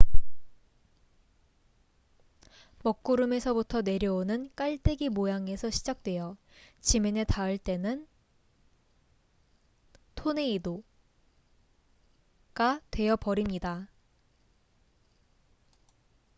"먹구름에서부터 내려오는 깔때기 모양에서 시작되어 지면에 닿을 때는 "토네이도""가 되어 버립니다.